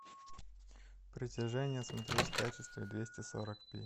притяжение смотреть в качестве двести сорок пи